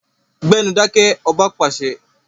Gbẹ́nu dákẹ́! Ọba pàṣẹ.